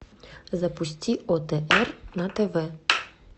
запусти отр на тв